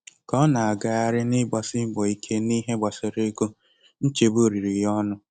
Ka ọ na-agagharị n'ịgbasi mbọ ike n'ihe gbasara ego, nchegbu riri ya ọnụ.